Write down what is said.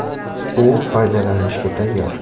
U foydalanishga tayyor.